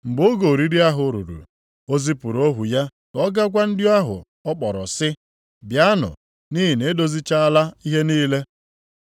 Mgbe oge oriri ahụ ruru, o zipụrụ ohu ya ka ọ ga gwa ndị ahụ ọ kpọrọ sị, ‘Bịanụ, nʼihi na e dozichaala ihe niile.’